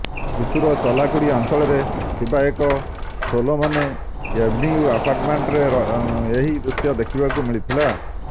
ତ୍ରିଶୂର ଚଲାକୁଡି ଅଞ୍ଚଳରେ ଥିବା ଏକ ସୋଲୋମନେ ଏଭେନ୍ୟୁ ଆପାର୍ଟମେଣ୍ଟରେ ଏହି ଦୃଶ୍ୟ ଦେଖିବାକୁ ମିଳିଥିଲା